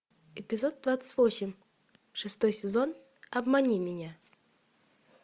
эпизод двадцать восемь шестой сезон обмани меня